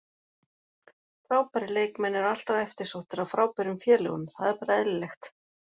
Frábærir leikmenn eru alltaf eftirsóttir af frábærum félögum, það er bara eðlilegt.